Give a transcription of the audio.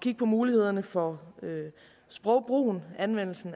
kigge på mulighederne for sprogbrugen anvendelsen